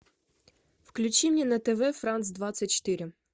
включи мне на тв франц двадцать четыре